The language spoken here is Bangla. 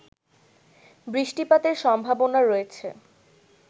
বৃষ্টিপাতের সম্ভাবনা রয়েছে